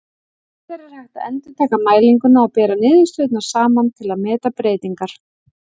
Síðar er hægt að endurtaka mælinguna og bera niðurstöðurnar saman til að meta breytingar.